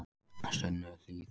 Sunnuhlíð